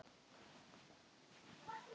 Af hverju ertu svona þrjóskur, Hróðný?